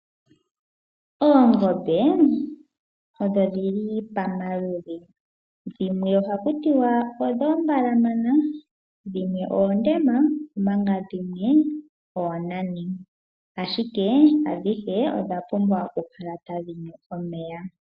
Oongombe odhili pomaludhi ogendji. Dhimwe ohaku tiwa oombalamana, dhimwe oondema omanga dhimwe oonani. Ashike adhihe odha pumbwa oku kala tadhi nu omeya.